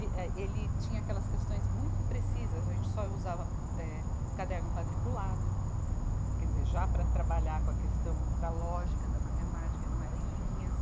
E eh ele, tinha aquelas questões muito precisas, a gente só usava, eh, caderno quadriculado, quer dizer, já para trabalhar com a questão da lógica da matemática, não era em linhas.